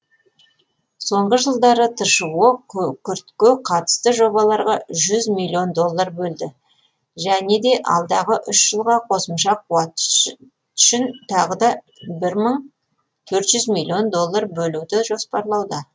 соңғы жылдары тшо күкіртке қатысты жобаларға жүз миллион доллар бөлді және де алдағы үш жылға қосымша қуат үшін тағы да мың төрт жүз миллион доллар бөлуді жоспарлауда